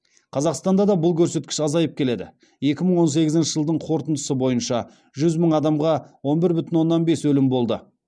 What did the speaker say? қазақстанда да бұл көрсеткіш азайып келеді екі мың он сегізінші жылдың қорытындысы бойынша жүз мың адамға он бір бүтін оннан бес өлім болды